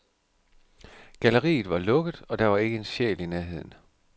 Galleriet var lukket, og der var ikke en sjæl i nærheden.